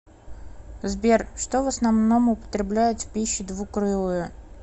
сбер что в основном употребляют в пищу двукрылые